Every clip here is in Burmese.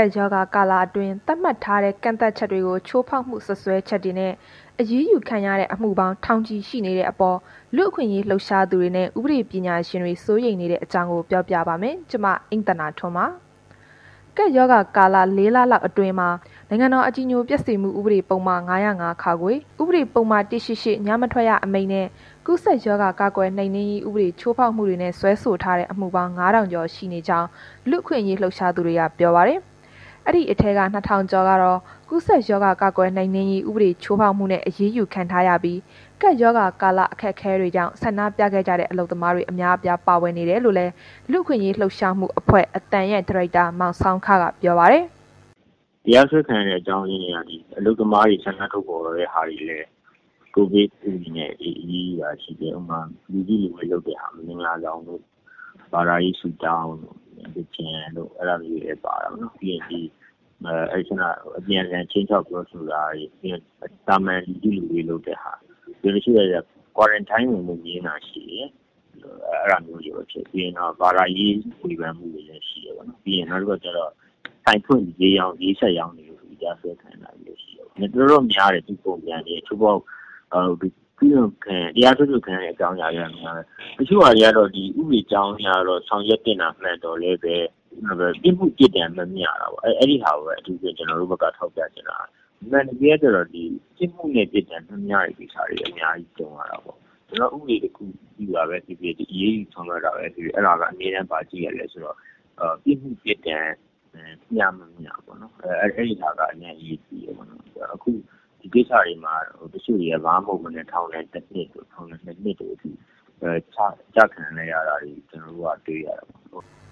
ပ်ရောဂါ ကာလအတွင်း သတ်မှတ်ထားတဲ့ ကန့်သတ်ချက်တွေကို ချိုးဖောက်မှု စွပ်စွဲချက်တွေနဲ့ အရေးယူခံရတဲ့ အမှုပေါင်း ထောင်ချီ ရှိနေတဲ့အပေါ် လူ့အခွင့်အရေး လှုပ်ရှားသူတွေနဲ့ ဥပဒေပညာရှင်တွေ စိုးရိမ်နေတဲ့အကြောင်း မ အိမ့်သန္တာထွန်း ပြောပြပါမယ်။ ကပ်ရောဂါကာလ ၄ လလောက်အတွင်း နိုင်ငံတော် အကြည်ညိုပျက်စေမှု ဥပဒေပုဒ်မ ၅၀၅ (ခ)၊ ဥပဒေပုဒ်မ ၁၈၈ ညမထွက်ရ အမိန့်နဲ့ ကူးစက်ရောဂါ ကာကွယ်နှိမ်နင်းရေး ဥပဒေ ချိုးဖောက်မှုတွေနဲ့ စွဲဆိုထားတဲ့ အမှုပေါင်း ၅ ထောင်ကျော် ရှိနေကြောင်း လူ့အခွင့်အရေး လှုပ်ရှားသူတွေက ပြောပါတယ်။ ဒီအထဲမှာ ၂ ထောင်ကျော်ကတော့ ကူးစက်ရောဂါ ကာကွယ်နှိမ်နင်းရေး ဥပဒေ ချိုးဖောက်မှုနဲ့ အရေးယူခံထားရပြီး ကပ်ရောဂါကာလ အခက်အခဲတွေကြောင့် ဆန္ဒပြခဲ့ကြတဲ့ အလုပ်သမားတွေ အများအပြား ပါဝင်ခဲ့ကြောင်းလည်း လူ့အခွင့်အရေး လှုပ်ရှားမှုအဖဖွဲ့ အသံရဲ့ ဒါရိုက်တာ မောင်ဆောင်းခက ပြောပါတယ်။ “တရားစွဲခံရတဲ့ အကြောင်းရင်းတွေက ဒီအလုပ်သမားတွေ ဆန္ဒထုတ်ဖော်တဲ့ဟာတွေလည်း ကိုဗစ်ဥပဒေနဲ့ အရေးယူတာရှိတယ်။ ဥပမာ လူစုလူဝေးလုပ်တာ၊ မင်္ဂလာဆောင်တို့၊ ဘာသာရေးဆုတောင်းတို့ အဲ့တာလေး တွေလည်း ပါတာပေါ့နှော်။ နောက်ပြီးရင် ဒီအပြန်အလှန် ခြိမ်းခြောက်ပြောဆိုတာတွေ၊ သာမန်လူစုလူဝေး လုပ်တဲ့ဟာတွေ၊ တစ်ချို့ကျလည်း Quarantine ဝင်ဖို့ ငြင်းတာတွေရှိတယ်။ အဲ့တာမျိုးတွေပေါ့။ ပြီးရင် ဘာသာရေးဝေဖန်မှုတွေလည်း ရှိတယ်ပေါ့။ နောက်တစ်ခုက ဆိုင်ဖွင့်ဈေးရောင်းလို့ တရားစွဲအရေးယူခံရ တာမျိုးလည်းရှိတယ်ပေါ့။ တော်တော်တော့ များတယ်၊ ဒီလို ချိုးဖောက်လို့ဆိုပြီး တရားစွဲဆိုခံရတဲ့ အမှုတွေက တစ်ချို့ဟာ တွေက ကျတော့ ဥပဒေကြောင်းအရ ဆောင်ရွက်သင့်တာ မှန်ပေမယ့်လည်း ပြစ်မှု ပြစ်ဒဏ်မမျှတာ ပေါ့။ အထူးသဖြင့် ကျွန်တော်ဘက်က ထောက်ပြချင်တာက အမှန်တကယ်ကကျတော့ ပြစ်မှုနဲ့ ပြစ်ဒဏ်မျှတာက အများကြီးကြုံရတာပေါ့။ ကျွန်တော်တို့ ဥပဒေတစ်ခုခု ပြုတာပဲဖြစ်ဖြစ်၊ အရေးယူ ဆောင်ရွက်တာပဲ ဖြစ်ဖြစ် အဲ့ဒီမှာ ဘာရှိရလဲဆိုတော့ ပြစ်မှု ပြစ်ဒဏ်မျှမျှပေါ့နှော် အဲ့ဒီဟာက အရမ်းအရေးကြီးတယ်။ အခုကိစ္စတွေမှာက တစ်ချို့က ဘာမှမဟုတ်တာတွေနဲ့ ထောင်ဒဏ်တစ်နှစ်တို့ ၂ နှစ်တို့အထိ ကျခံနေရတာတွေ ကျွန်တော်တို့က တွေရတယ်ပေါ့”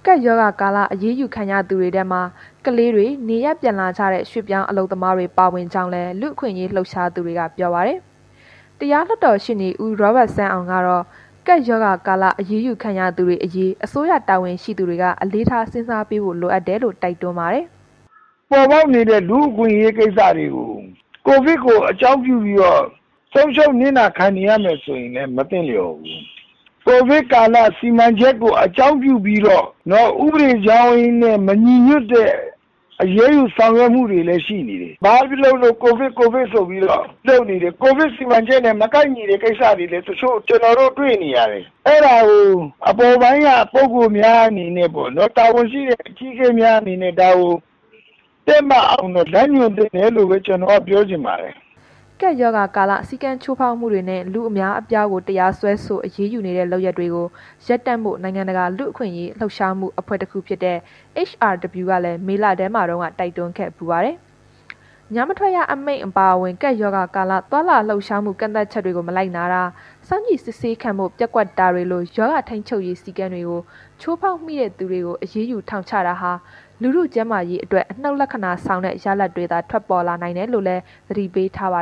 ကပ်ရောဂါကာလ အရေးယူခံရသူတွေထဲမှာ ကလေးတွေ၊ နေရပ်ပြန်လာကြတဲ့ ရွှေ့ပြောင်း အလုပ်သမားတွေ ပါဝင်ကြောင်းလည်း လူ့အခွင့်အရေး လှုပ်ရှားသူတွေက ပြောပါတယ်။ တရားလွှတ်တော်ရှေ့နေ ဦးရောဘတ်စန်းအောင် ကတော့ ကပ်ရောဂါကာလ အရေးယူခံရသူတွေ အရေး အစိုးရတာဝန်ရှိသူတွေ အလေးထားစဉ်းစားဖို့လိုတယ်လို့ တိုက်တွန်းပါတယ်။ “ပေါ်ပေါက်နေတဲ့ လူ့အခွင့်အရေးကိစ္စတွေကို ကိုဗစ် ကို အကြောင်းပြုပြီးတော့ ဆုံးရှုံးနစ်နာခံနေရမယ်ဆိုရင် လည်း မသင့်လျှော်ဘူး။ ကိုဗစ်ကာလ စီမံချက်ကို အကြောင်းပြုပြီးတော့ ဥပဒေကြောင်းနဲ့ မညီညွတ်တဲ့ အရေးယူဆောင်ရွက်မှုတွေ လည်း ရှိနေတယ်။ ဘာပဲလုပ်လုပ် ကိုဗစ် ဆိုပြီးတော့လုပ်နေတယ်။ ကိုဗစ် စီမံချက်နဲ့ မကိုက်ညီတဲ့ ကိစ္စတွေလည်း တစ်ချို့ ကျွန်တော်တို့ တွေ့နေရတယ်၊ အဲ့ဒါကို အပေါ်ပိုင်းက ပုဂ္ဂိုလ်များအနေနဲ့ တာဝန်ရှိတဲ့ အကြီးအကဲများအနေနဲ့ ဒါကို တည့်မတ်အောင် လမ်းညွှန်သင့်တယ် လို့ပဲ ကျွန်တော်က ပြောချင်ပါတယ်။” ကပ်ရောဂါကာလ စည်းကမ်းချိုးဖောက်မှုတွေနဲ့ လူအများအပြားကို တရားစွဲဆို အရေးယူနေတဲ့ လုပ်ရပ်တွေကို ရပ်တန့်ဖို နိုင်ငံတကာ လူ့အခွင့်အရေး လှုပ်ရှားမှုအဖွဲ့တခုဖြစ်တဲ့ HRW ကလည်း မေလတုန်းက တိုက်တွန်းခဲ့ဖူးပါတယ်။ ညမထွက်ရအမိန့် အပါအဝင် ကပ်ရောဂါကာလ သွားလာလှုပ်ရှားမှု ကန့်သတ်ချက်တွေကို မလိုက်နာတာ၊ စောင့်ကြည့်စစ်ဆေးခံဖို့ ပျက်ကွက်တာတွေလို ရောဂါထိန်းချုပ်ရေး စည်းကမ်းတွေကို ချိုးဖောက်မိတဲ့သူတွေကို အရေးယူထောင်ချတာဟာ လူထုကျန်းမာရေးအတွက် အနုတ်လက္ခဏာဆောင်တဲ့ ရလဒ်တွေသာ ထွက်ပေါ်လာနိုင်တယ်လို့လည်း သတိပေးထားပါ